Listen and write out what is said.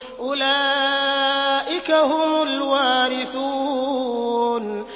أُولَٰئِكَ هُمُ الْوَارِثُونَ